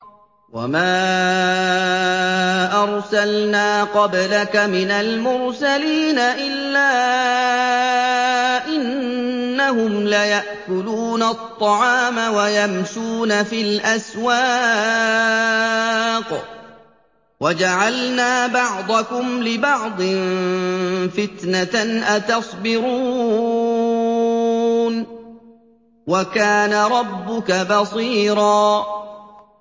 وَمَا أَرْسَلْنَا قَبْلَكَ مِنَ الْمُرْسَلِينَ إِلَّا إِنَّهُمْ لَيَأْكُلُونَ الطَّعَامَ وَيَمْشُونَ فِي الْأَسْوَاقِ ۗ وَجَعَلْنَا بَعْضَكُمْ لِبَعْضٍ فِتْنَةً أَتَصْبِرُونَ ۗ وَكَانَ رَبُّكَ بَصِيرًا